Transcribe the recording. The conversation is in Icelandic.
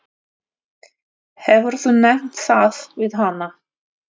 Hefurðu nefnt það við hana?